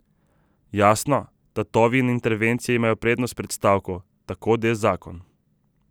Jasno, tatovi in intervencije imajo prednost pred stavko, tako de zakon.